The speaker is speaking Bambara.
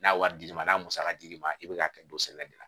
N'a wari d'i ma n'a musaka dir'i ma i bɛ k'a kɛ don sɛnɛ de la